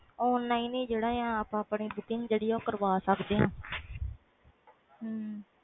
online ਵ ਜਿਹੜੀ ticket book ਕਰਵਾ ਸਕਦੇ ਆ